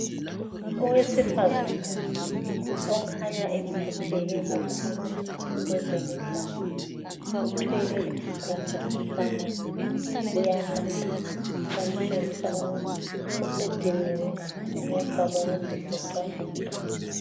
Owesifazana okhanya ephatheke kakhulu kwezemidlalo uthwele isigubhu samanzi uyanatha. Okutshengisa ukuba usediniwe ngemva kokuzivoxavoxa.